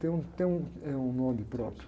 Tem um, tem um, tem um nome próprio.